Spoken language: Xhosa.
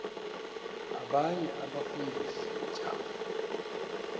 abanye abafundisi ntshapo